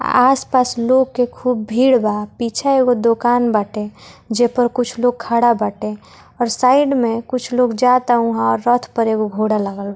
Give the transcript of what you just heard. आस-पास लोग के खूब भीड़ बा पीछा एगो दोकान बाटे जे पर कुछ लोग खड़ा बाटे और साइड में कुछ लोग जाता वहां ओर रथ पर एगो घोड़ा लागल --